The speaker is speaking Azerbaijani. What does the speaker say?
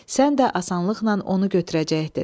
Sən də asanlıqla onu götürəcəkdin.